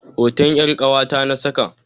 Hoton 'yar ƙawata na saka.